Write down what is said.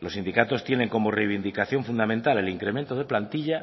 los sindicatos tienen como reivindicación fundamental el incremento de plantilla